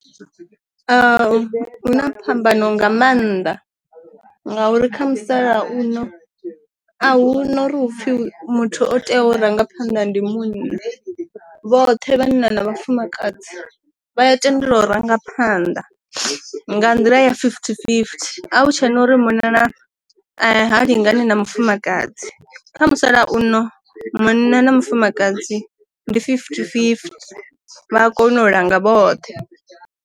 A huna phambano nga mannḓa ngauri kha musalauno a hu na uri hu pfhi muthu o tea u ranga phanda ndi muuna vhoṱhe vha na na vhafumakadzi vha a tendelwa u ranga phanda nga nḓila ya fifty fifty a hu tshena uri munna na ha lingani na mufumakadzi kha musalauno munna na mufumakadzi ndi fifty fifty vha kone u langa vhoṱhe.